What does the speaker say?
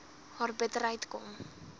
haar bitterheid kom